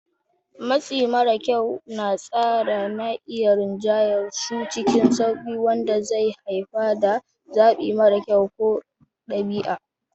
Matsi mara kyau na tsara na iya rinjayar su cikin sauƙi, wanda zai haifar da zaɓi mara kyau ko ɗabi'a.